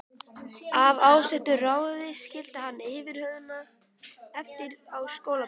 Af ásettu ráði skildi hann yfirhöfnina eftir á stólbakinu.